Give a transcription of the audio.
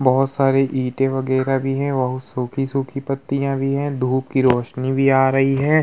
बहोत सारी ईटें वगेरा भी है बहु सूखी सूखी पत्तियां भी हैं धूप की रौशनी भी आ रही है।